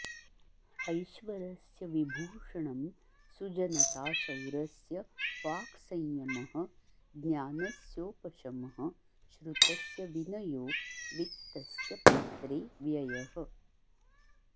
ऐश्वरस्य विभूषणं सुजनता शौर्यस्य वाक्संयमः ज्ञानस्योपशमः श्रुतस्य विनयो वित्तस्य पात्रे व्ययः